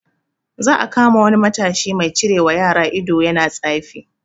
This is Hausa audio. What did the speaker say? Za a kama wani matashi mai cirewa yara ido yana tsafi